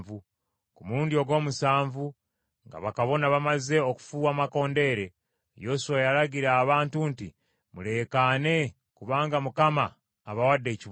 Ku mulundi ogw’omusanvu nga bakabona bamaze okufuuwa amakondeere, Yoswa n’alagira abantu nti, “Muleekaane kubanga Mukama abawadde ekibuga.